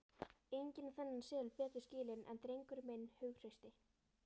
Enginn á þennan seðil betur skilinn en drengurinn minn hughrausti.